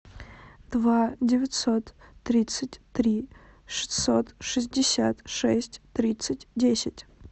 два девятьсот тридцать три шестьсот шестьдесят шесть тридцать десять